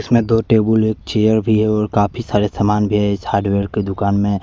इसमें दो टेबुल और चेयर भी है और काफी सारे सामान भी है इस हार्डवेयर की दुकान में।